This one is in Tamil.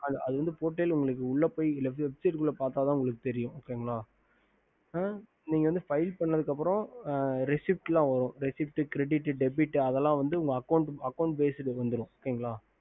அது வந்து உள்ள பொய் portal பத்தாத உங்களுக்கு தெரியும் நீங்க file பண்ணதுக்கு அப்புறம் Receipt அதல வரும் Receipt Credit Debit account page க்கு வந்துரும்